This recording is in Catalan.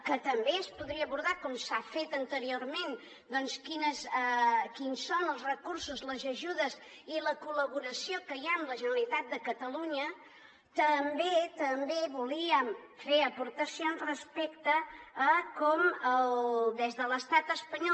que també es podria abordar com s’ha fet anteriorment doncs quins són els recursos les ajudes i la col·laboració que hi ha amb la generalitat de catalunya també volíem fer aportacions respecte a com des de l’estat espanyol